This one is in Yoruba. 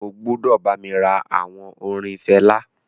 O gbúdọ̀ bá mi ra àwọn orin Fela.